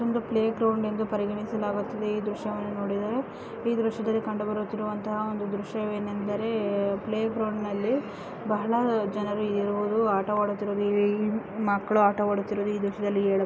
ಇದೊಂದು playground ಎಂದು ಪರಿಗಣಿಸಲಾಗುತ್ತಿದೆ ಈ ದೃಶ್ಯದಲ್ಲಿ ಕಂಡುಬರುತ್ತಿರುವ ದೃಶ್ಯವೇನೆಂದರೆ ಪ್ಲೇ ಗ್ರೌಂಡ್ ನಲ್ಲಿ ಬಹಳ ಜನ ಇರುವುದು ಆಟವಾಡುತ್ತಿರುವುದು ಮಕ್ಕಳು ಆಟವಾಡುತ್ತಿರುವುದನ್ನು